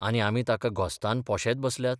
आनी आमी ताका घोस्तान पोशेत बसल्यात?